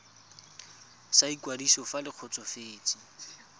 sa ikwadiso fa le kgotsofetse